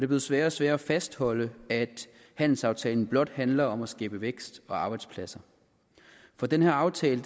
blevet sværere og sværere at fastholde at handelsaftalen blot handler om at skabe vækst og arbejdspladser for den her aftale